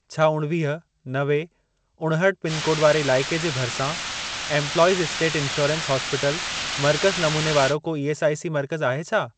छा उणिवीह, नवे, उणहठि पिनकोड वारे इलाइके जे भरिसां एंप्लॉइज' स्टेट इंश्योरेंस हॉस्पिटल मर्कज़ नमूने वारो को ईएसआईसी मर्कज़ आहे छा?